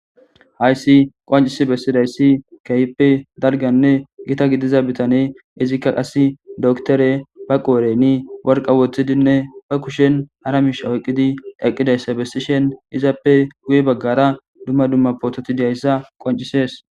hayssi qoncisi bessidayssi kehppe dalganne gita gidiza bitane izikka qasi doktore ba qooreni worqa woththidinne ba kushen haramishawoyqqidi eqqidayssa bessishen izappe guye baggara dumma dumma poototidiyayssa qoncisees